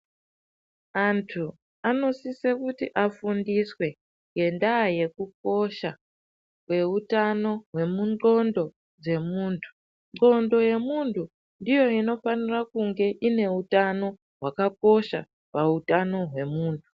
Antu anosisa kuti afundiswe nenyaya yekukosha kwehutano hwengonxo dzemuntu ngonxo ndiyo inofanira kunge ine hutano hwakakosha pahutano hwemuntu.